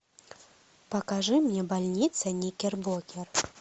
покажи мне больница никербокер